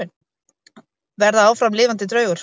Verða áfram lifandi draugur.